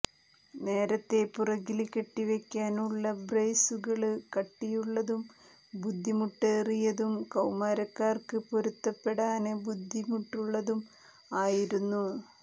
നേരത്തെ പുറകില് കെട്ടിവയ്ക്കാനുള്ള ബ്രേസുകള് കട്ടിയുള്ളതും ബുദ്ധിമുട്ടേറിയതും കൌമാരക്കാര്ക്ക് പൊരുത്തപ്പെടാന് ബുദ്ധിമുട്ടുള്ളതും ആയിരുന്നു